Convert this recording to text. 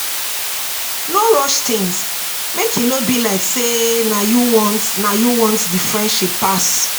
No rush things make e no be like sey na you want na you want di friendship pass